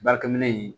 Baarakɛminɛn in